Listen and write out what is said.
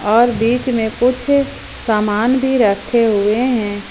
और बीच में कुछ सामान भी रखे हुए हैं।